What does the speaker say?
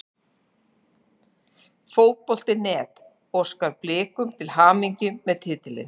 Fótbolti.net óskar Blikum til hamingju með titilinn.